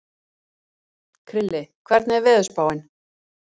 Krilli, hvernig er veðurspáin?